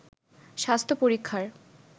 স্বাস্থ্য পরীক্ষার